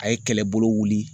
A ye kɛlɛbolo wuli.